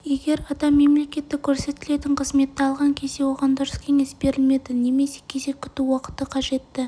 егер адам мемлекеттік көрсетілетін қызметті алған кезде оған дұрыс кеңес берілмеді немесе кезек күту уақыты қажетті